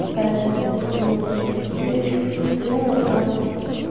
какая там обстановочка но я ещё посмотрела там